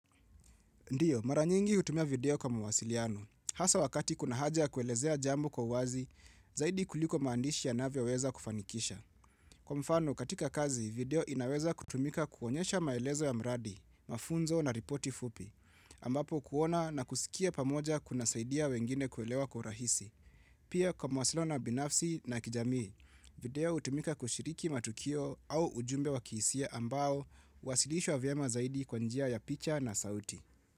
Ndio, maranyingi hutumia video kwa mawasiliano. Hasa wakati kuna haja kuelezea jambo kwa wazi, zaidi kuliko maandishi ya navyoweza kufanikisha. Kwa mfano, katika kazi, video inaweza kutumika kuonyesha maelezo ya mradi, mafunzo na ripoti fupi. Ambapo kuona na kusikia pamoja kuna saidia wengine kuelewa kwa urahisi. Pia kwa mwasilio na binafsi na kijamii, video utumika kushiriki matukio au ujumbe wa kihisia ambao, huwasilishwa vyemazaidi kwanjia ya picha na sauti.